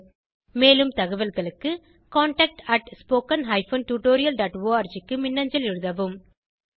மேலும் தகவல்களுக்கு contactspoken tutorialorg க்கு மின்னஞ்சல் எழுதவும்